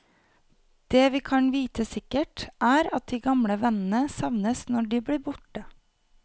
Det vi kan vite sikkert, er at de gamle vennene savnes når de blir borte.